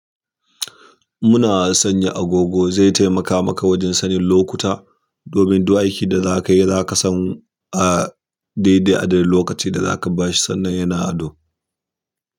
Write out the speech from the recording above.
Muna san ya agogo zai taimaka maka wajen sanin lokuta domin duk aikin da zakayi zakasan. A daidai adadin lokaci da za ka ba shi sannan yana ado.